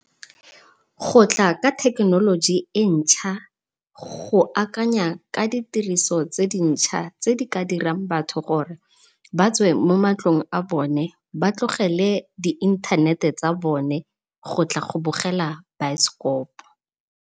Go tla ka thekenoloji entšha go akanya ka ditiriso tse dintšha tse di ka dirang batho gore ba tswe mo matlong a bone, ba tlogele di inthanete tsa bone gotla go bogela baesekopo.